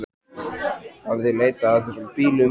Hafið þið leitað að þessum bílum eða?